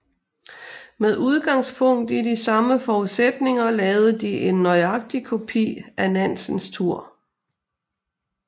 Med udgangspunkt i de samme forudsætninger lavede de en nøjagtig kopi af Nansens tur